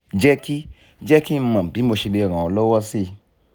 jẹ́ kí jẹ́ kí n mọ̀ bí mo ṣe lè ràn ọ́ lọ́wọ́ síi